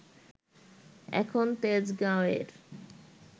এখন তেজগাঁওয়ের